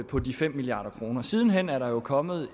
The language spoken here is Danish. på de fem milliard kroner siden hen er der jo kommet